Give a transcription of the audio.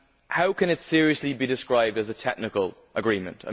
How can it seriously be described as a technical agreement?